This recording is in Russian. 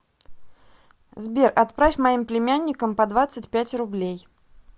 сбер отправь моим племянникам по двадцать пять рублей